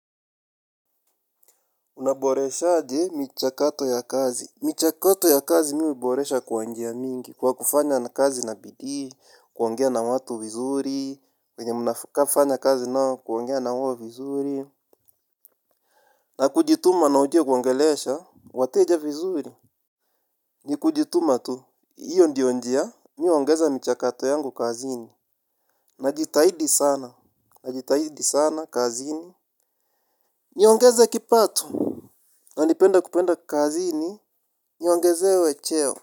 Unaboresha aje michakato ya kazi. Michakato ya kazi mimi huboresha kwa njia mingi. Kwa kufanya kazi na bidii, kuongea na watu vizuri, wenye mnafanya kazi nao, kuongea nao vizuri. Na kujituma na ujue kuongelesha wateja vizuri. Ni kujituma tu. Iyo ndio njia. Mimi huongeza michakato yangu kazini. Najitahidi sana. Najitahidi sana kazini. Niongeze kipato. Na nipenda kupenda kazini niongezewe cheo.